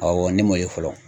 Awɔ ne m'o ye fɔlɔ.